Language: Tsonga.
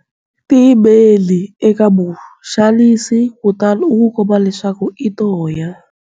Tiyimeli eka muxanisi kutani u n'wi komba leswaku i toya.